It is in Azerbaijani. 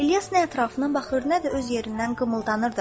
İlyas nə ətrafına baxır, nə də öz yerindən qımıldanırdı.